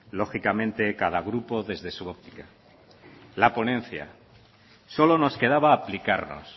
lógicamente cada grupo desde su óptica la ponencia solo nos quedaba aplicarnos